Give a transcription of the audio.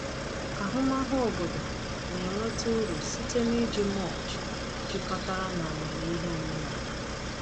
Ahụmahụ obodo na-enweta uru site n’iji mulch jikọtara na amamihe omenala.